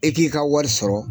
E k'i ka wari sɔrɔ